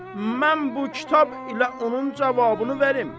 Mən bu kitab ilə onun cavabını verim.